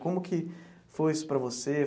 Como que foi isso para você?